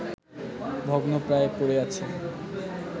ভগ্নপ্রায় পড়ে আছে